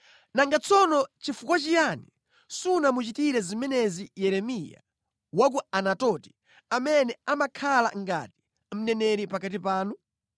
Nanga tsono chifukwa chiyani simunamuchitire zimenezi Yeremiya wa ku Anatoti, amene amakhala ngati mneneri pakati panu?